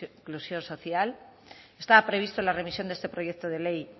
inclusión social estaba previsto la remisión de este proyecto de ley